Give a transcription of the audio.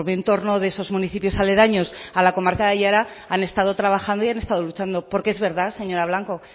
entorno de esos municipios aledaños a la comarca de aiara han estado trabajando y han estado luchando porque es verdad señora blanco